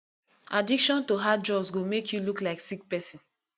addiction to hard drugs go make you look like sick person